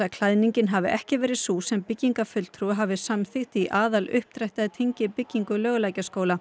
klæðningin hafi ekki verið sú sem byggingafulltrúi hafi samþykkt í aðaluppdrætti að tengibyggingu Laugalækjarskóla